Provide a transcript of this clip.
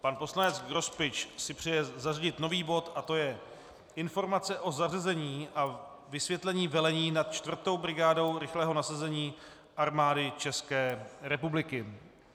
Pan poslanec Grospič si přeje zařadit nový bod a to je Informace o zařazení a vysvětlení velení nad 4. brigádou rychlého nasazení Armády České republiky.